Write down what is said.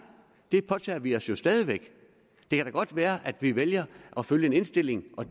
det påtager vi os jo stadig væk det kan da godt være at vi vælger at følge en indstilling og